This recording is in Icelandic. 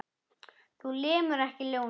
Þú lemur ekki ljónið.